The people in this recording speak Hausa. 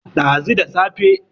dazu da safe